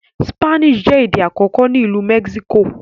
Spanish jé èdè àkókò ní Ilú Mexico.